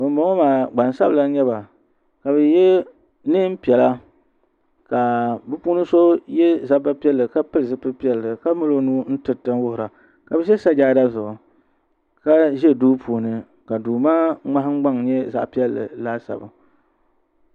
Bani bɔŋɔ maa gbaŋ sabila nyɛ ba ka bi yiɛ nɛɛn piɛlla ka bi puuni so yiɛ zabba piɛlli ka pili zupili piɛlli ka mali o nuu n tiriti wuhiri a ka bi zɛ sajada zuɣu ka zi duu puuni ka duu maa mŋahin gbaŋ nyɛ zaɣi piɛlli laasabu.